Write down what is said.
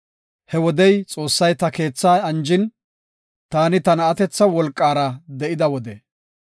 He wodey Xoossay ta keethaa anjin, taani ta na7atetha wolqara de7ida wode.